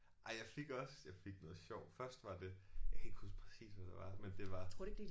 Ej jeg fik også jeg fik noget sjovt først var det jeg kan ikke huske præcis hvad det var men det var